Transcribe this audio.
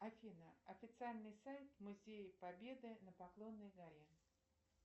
афина официальный сайт музея победы на поклонной горе